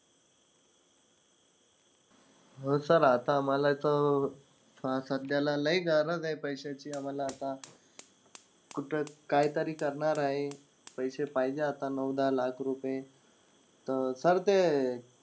हो Sir आता आम्हाला इथं सध्याला लय गरज आहे पैशाची. आम्हाला आता, कुठं काहीतरी करणार आहे. पैसे पाहिजे आता नऊ-दहा लाख रुपये. तर, sir ते.